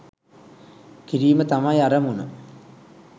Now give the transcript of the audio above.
කිරීම තමයි අරමුණ.